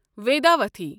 وٮ۪داوتھی